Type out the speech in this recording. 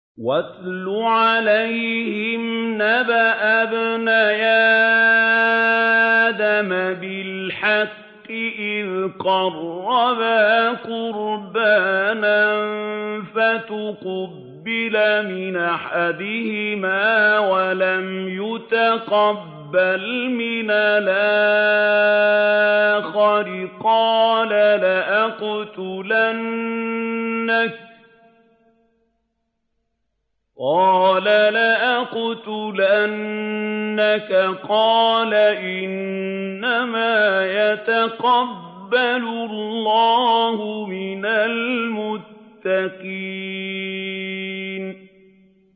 ۞ وَاتْلُ عَلَيْهِمْ نَبَأَ ابْنَيْ آدَمَ بِالْحَقِّ إِذْ قَرَّبَا قُرْبَانًا فَتُقُبِّلَ مِنْ أَحَدِهِمَا وَلَمْ يُتَقَبَّلْ مِنَ الْآخَرِ قَالَ لَأَقْتُلَنَّكَ ۖ قَالَ إِنَّمَا يَتَقَبَّلُ اللَّهُ مِنَ الْمُتَّقِينَ